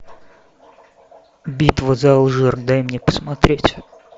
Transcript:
битва за алжир дай мне посмотреть